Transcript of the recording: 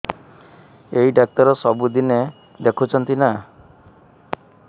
ଏଇ ଡ଼ାକ୍ତର ସବୁଦିନେ ଦେଖୁଛନ୍ତି ନା